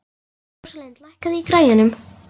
Rósalind, lækkaðu í græjunum.